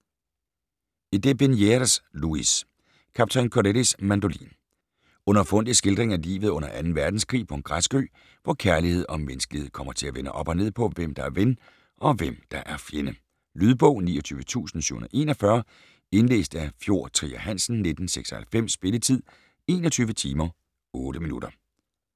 De Bernières, Louis: Kaptajn Corellis mandolin Underfundig skildring af livet under 2. verdenskrig på en græsk ø, hvor kærlighed og menneskelighed kommer til at vende op og ned på, hvem der er ven, og hvem der er fjende. Lydbog 29741 Indlæst af Fjord Trier Hansen, 1996. Spilletid: 21 timer, 8 minutter.